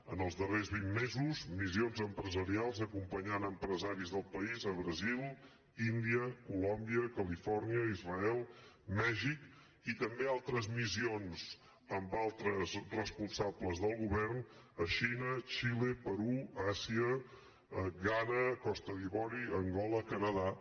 en els darrers vint mesos missions empresarials acompanyant empresaris del país a brasil índia colòmbia califòrnia israel mèxic i també altres missions amb altres responsables del govern a xina xile perú àsia ghana costa d’ivori angola canadà